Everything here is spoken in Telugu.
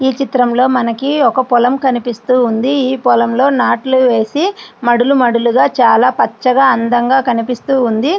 ఈ చిత్రంలో మనకి ఒక పొలం కనిపిస్తూ ఉంది ఈ పొలంలో నాట్లు వేసి మడులు మడులుగా చాలా పచ్చగా అందంగా కనిపిస్తూ వుంది.